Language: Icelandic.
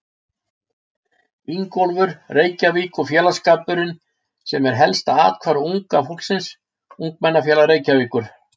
Ingólfur, Reykjavík- og félagsskapurinn sem er helsta athvarf unga fólksins: Ungmennafélag Reykjavíkur.